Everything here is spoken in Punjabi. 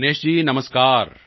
ਦਿਨੇਸ਼ ਜੀ ਨਮਸਕਾਰ